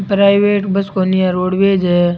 Private bus कोनी आ roadways है।